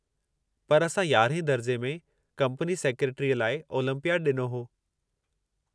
पर असां 11हें दर्जे में कंपनी सेक्रेटरीअ लाइ ओलंपियाडु ॾिनो हो।